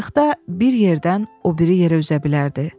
Qayıqda bir yerdən o biri yerə üzə bilərdi.